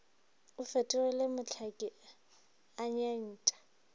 o fetogile mohlaki a nyentšha